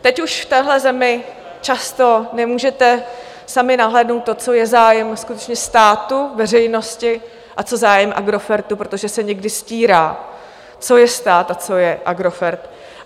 Teď už v téhle zemi často nemůžete sami nahlédnout to, co je zájem skutečně státu, veřejnosti a co zájem Agrofertu, protože se někdy stírá, co je stát a co je Agrofert.